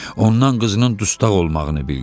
Ondan qızının dustaq olmağını bildi.